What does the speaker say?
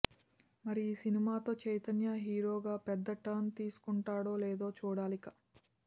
మరి ఈ సినిమాతో చైతన్య హీరోగా పెద్ద టర్న్ తీసుకుంటాడో లేదో చూడాలిక